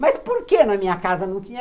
Mas por que na minha casa não tinha?